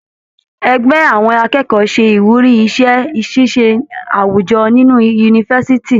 Ẹgbẹ àwọn akẹ́kọ̀ọ́ se ìwúrí iṣẹ ṣiṣe awujọ nínú yunifásítì